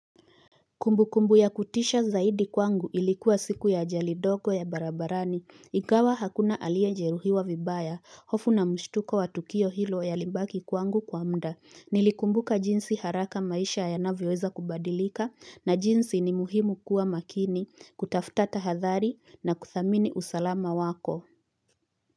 Kumbukumbu ya kutisha zaidi kwangu ilikuwa siku ya ajali ndogo ya barabarani, ingawa hakuna aliye jeruhiwa vibaya, hofu na mshtuko wa tukio hilo yalibaki kwangu kwa muda, nilikumbuka jinsi haraka maisha yanavyoweza kubadilika, na jinsi ni muhimu kuwa makini, kutafuta tahadhari, na kudhamini usalama wako.